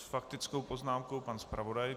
S faktickou poznámkou pan zpravodaj.